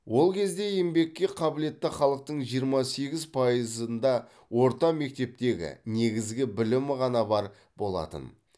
ол кезде еңбекке қабілетті халықтың жиырма сегіз пайызында орта мектептегі негізгі білім ғана бар болатын